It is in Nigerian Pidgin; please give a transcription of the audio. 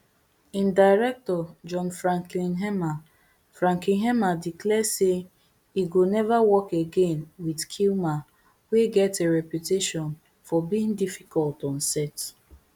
im director john frankenheimer frankenheimer declare say e go never work again with kilmer wey get a reputation for being difficult on set